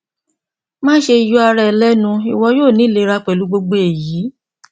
maṣe yọ ara rẹ lẹnu iwọ yoo ni ilera pẹlu gbogbo eyi